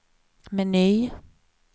meny